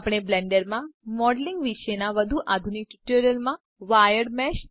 આપણે બ્લેન્ડર માં મોડેલીંગ વિશેના વધુ આધુનિક ટ્યુટોરિયલ્સમાં વાયર્ડ મેશ